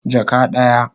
Jaka daya